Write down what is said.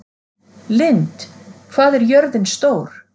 Lynd, hvað er jörðin stór?